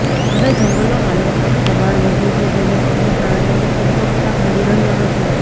હવે જંગલોમાં લોકોની દબાણ વધ્યું છે જેને પગલે પ્રાણીઓને પુરતો ખોરાક મળી રહ્યો નથી